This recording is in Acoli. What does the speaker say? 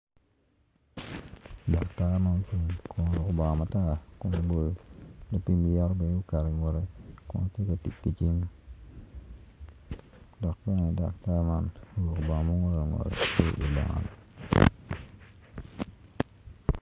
Daktar ma ocung kun oruko bongo matar kun obolo gi pimo lyeto bene oketo ingute kun tye ka tic ki cim daktar man bene dok bene daktar man oruko bongo ma ongol ongol